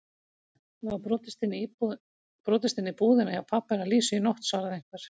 Það var brotist inn í búðina hjá pabba hennar Lísu í nótt svaraði einhver.